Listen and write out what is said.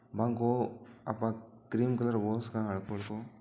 बंक हो आपा क क्रीम कलर हु सका हल्को हल्को --